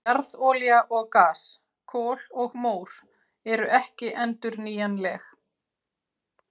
Jarðolía og gas, kol og mór eru ekki endurnýjanleg.